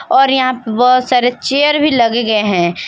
और यहां पे बहुत सारे चेयर भी लगे गए हैं।